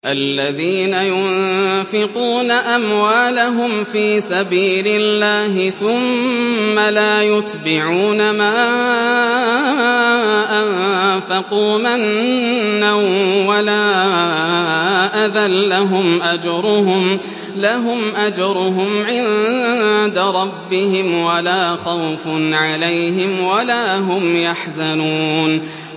الَّذِينَ يُنفِقُونَ أَمْوَالَهُمْ فِي سَبِيلِ اللَّهِ ثُمَّ لَا يُتْبِعُونَ مَا أَنفَقُوا مَنًّا وَلَا أَذًى ۙ لَّهُمْ أَجْرُهُمْ عِندَ رَبِّهِمْ وَلَا خَوْفٌ عَلَيْهِمْ وَلَا هُمْ يَحْزَنُونَ